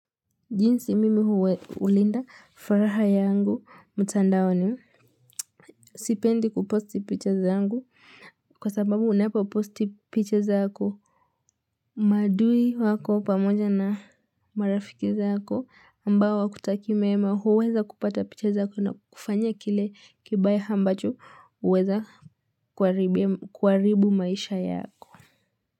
Jinsi mimi huwe hulinda furaha yangu mtandaoni Sipendi kuposti picha zangu, kwa sababu unapoposti picha zako Madui wako pamoja na marafiki zako, ambao hakutakii mema, huweza kupata picha zako na kukufanyia kile kibaya ambacho huweza kuharibu maisha yako.